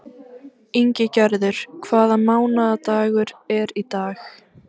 Ingigerður, hvaða mánaðardagur er í dag?